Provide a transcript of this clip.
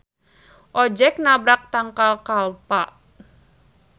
Ojeg nabrak tangkal kalpa.